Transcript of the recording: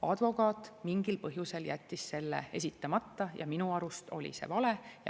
Advokaat mingil põhjusel jättis selle esitamata ja minu arust oli see vale.